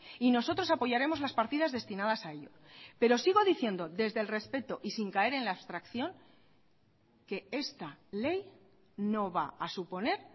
y nosotros apoyaremos las partidas destinadas a ello pero sigo diciendo desde el respeto y sin caer en la abstracción que esta ley no va a suponer